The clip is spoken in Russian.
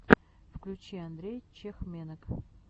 включи андрей чехменок